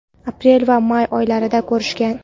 aprel va may oylarida ko‘rishgan.